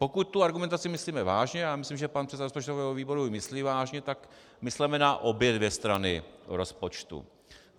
Pokud tu argumentaci myslíme vážně, a já myslím, že pan předseda rozpočtového výboru ji myslí vážně, tak mysleme na obě dvě strany rozpočtu.